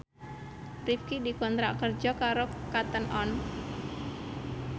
Rifqi dikontrak kerja karo Cotton On